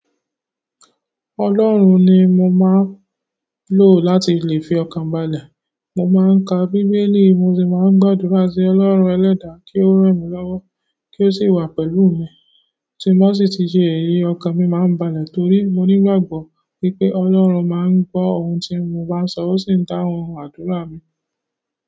Ọlọ́run ni mo máa ń lò láti lè fi ọkàn balẹ̀. Mo máa ń ka Bíbélì, mo sì máa ń gbàdúrà sí Ọlọ́run ẹlẹ́dàá kí ó ran mí lọ́wọ́, kí ó sì wà pẹ̀lú mi. Tí n ba sí ti jẹ́ èyí, ọkàn mi máa ń balẹ̀ torí mo nígbàgbọ́ wipé Ọlọ́run máa ń gbọ́ ohun tí mo bá ń sọ, ó sì ń dáhùn àdúrà mi.